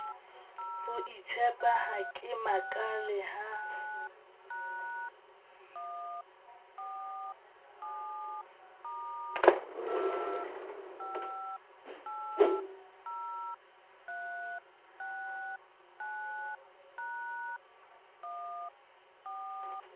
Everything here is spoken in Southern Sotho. hoitshepa ha ke makale ha